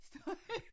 Støj